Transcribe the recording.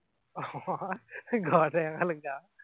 ঘৰতে এখন গাওঁ